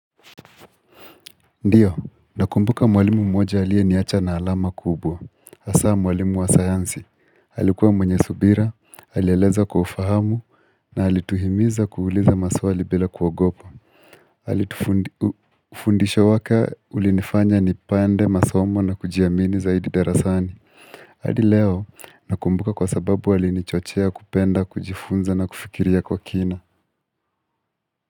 Ndiyo, nakumbuka mwalimu mmoja aliye niacha na alama kubwa, hasa mwalimu wa sayansi. Alikuwa mwenye subira, alieleza kwa ufahamu, na alituhimiza kuuliza maswali bila kuogopa. Alitu fundisho wake ulinifanya nipende, masomo na kujiamini zaidi darasani. Hadi leo, nakumbuka kwa sababu alinichochea kupenda, kujifunza na kufikiria kwa kina.